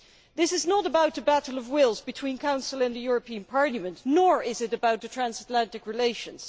This is not about a battle of wills between the Council and the European Parliament nor is it about transatlantic relations.